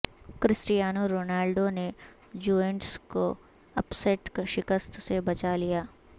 Cristiano Ronaldo نے Juventus کو upset شکست سے بچا لیا